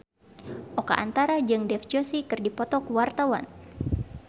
Oka Antara jeung Dev Joshi keur dipoto ku wartawan